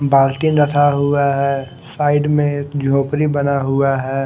बाल्टि रखा हुआ है साइड में एक झोपडी बना हुआ है।